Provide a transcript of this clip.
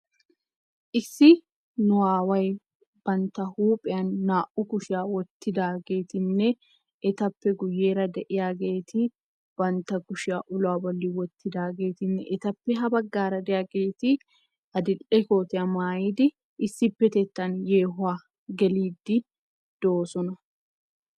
issi nu aaway bantta huuphiyan naa''u kushiyaa wottidaageetinne etappe guyyeera de'iyaageeti bantta kushiyaa uluwaa bolli wottidaageetinne etappe ha baggaara de'ageeti adil''e kootiyaa maayiidi issi petettan yeehuwaa geliiddi doosona